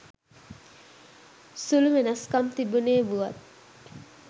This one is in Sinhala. සුළු වෙනස්කම් තිබුණේ වුවත්